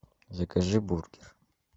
закажи бургер